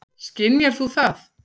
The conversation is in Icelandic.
Skynjar þú það?